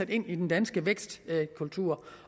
ind i den danske vækstkultur